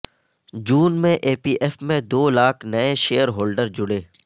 جون میں E P F میں دو لاکھ نئے شیئر ہولڈر جڑے